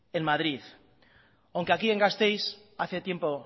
en madrid aunque aquí en gasteiz hace tiempo